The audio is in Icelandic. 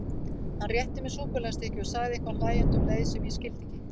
Hann rétti mér súkkulaðistykki og sagði eitthvað hlæjandi um leið sem ég skildi ekki.